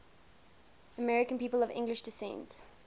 american people of english descent